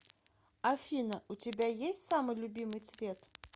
афина у тебя есть самый любимый цвет